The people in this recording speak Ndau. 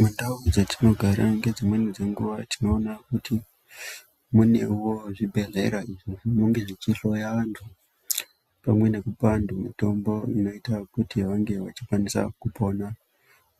Mundau dzetinogara ngedzimweni dzenguwa tinoona kuti munewo zvibhedhlera izvo zvinenge zvichihloya vantu pamwe nekupa vantu mitomboinoite kuti vange vachikwanisa kupona